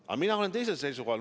Aga mina olen teisel seisukohal.